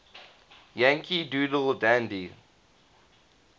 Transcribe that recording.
yankee doodle dandy